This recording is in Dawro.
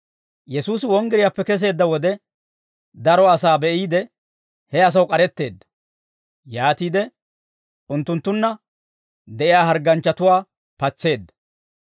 Yesuusi wonggiriyaappe keseedda wode, daro asaa be'iide, he asaw k'aretteedda; yaatiide unttunttunna de'iyaa hargganchchatuwaa patseedda.